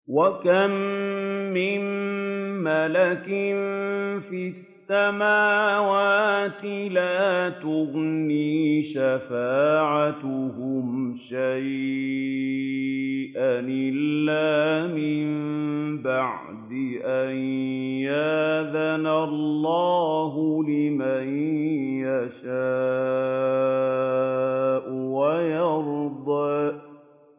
۞ وَكَم مِّن مَّلَكٍ فِي السَّمَاوَاتِ لَا تُغْنِي شَفَاعَتُهُمْ شَيْئًا إِلَّا مِن بَعْدِ أَن يَأْذَنَ اللَّهُ لِمَن يَشَاءُ وَيَرْضَىٰ